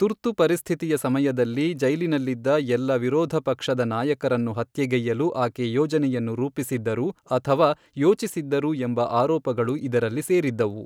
ತುರ್ತು ಪರಿಸ್ಥಿತಿಯ ಸಮಯದಲ್ಲಿ ಜೈಲಿನಲ್ಲಿದ್ದ ಎಲ್ಲ ವಿರೋಧ ಪಕ್ಷದ ನಾಯಕರನ್ನು ಹತ್ಯೆಗೈಯ್ಯಲು ಆಕೆ ಯೋಜನೆಯನ್ನು ರೂಪಿಸಿದ್ದರು ಅಥವಾ ಯೋಚಿಸಿದ್ದರು ಎಂಬ ಆರೋಪಗಳು ಇದರಲ್ಲಿ ಸೇರಿದ್ದವು.